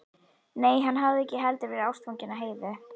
Nei, hann hafði ekki heldur verið ástfanginn af Heiðu.